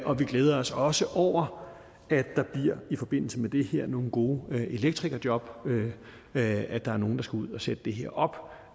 og vi glæder os også over at der i forbindelse med det her bliver nogle gode elektrikerjob ved at der er nogle der skal ud og sætte det her op